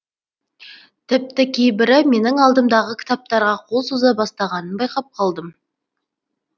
тіпті кейбірі менің алдымдағы кітаптарға қол соза бастағанын байқап қалдым